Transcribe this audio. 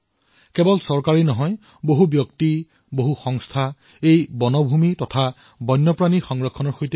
কেৱল চৰকাৰেই নহয় বহু লোক বহু সংস্থাই আমাৰ বনতৃণ আৰু বন্যজীৱৰ সংৰক্ষণত নামি পৰিছে